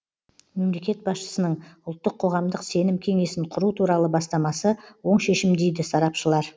мемлекет басшысының ұлттық қоғамдық сенім кеңесін құру туралы бастамасы оң шешім дейді сарапшылар